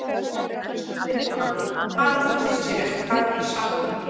Elsku Birna, Bara að þú vissir hvað ég sakna þín.